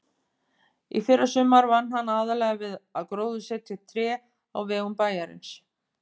Í fyrrasumar vann hann aðallega við að gróðursetja tré á vegum bæjarins.